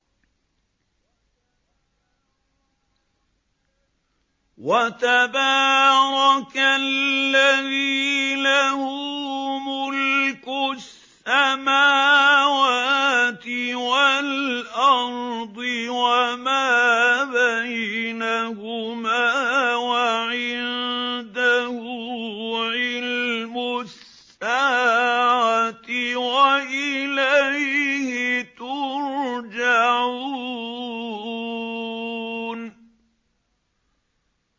وَتَبَارَكَ الَّذِي لَهُ مُلْكُ السَّمَاوَاتِ وَالْأَرْضِ وَمَا بَيْنَهُمَا وَعِندَهُ عِلْمُ السَّاعَةِ وَإِلَيْهِ تُرْجَعُونَ